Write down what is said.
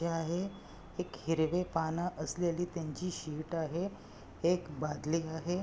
हे आहे एक हिरवे पान असलेली त्यांची शीट आहे एक बादली आहे.